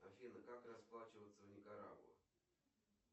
афина как расплачиваться в никарагуа